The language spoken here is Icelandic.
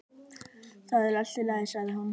Það er allt í lagi sagði hún.